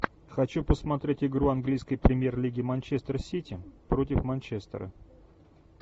хочу посмотреть игру английской премьер лиги манчестер сити против манчестера